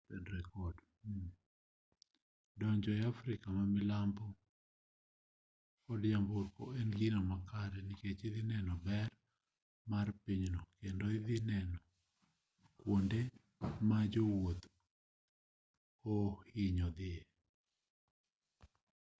donjo afrika ma milambo kod nyamburko en gino makare nikech idhi neno ber mar pinyno kendo idhi neno kata kuonde ma jowuoth oohinyo dhiye